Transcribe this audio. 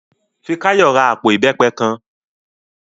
Fikáyọ̀ ra àpò ìbẹ́pẹ kan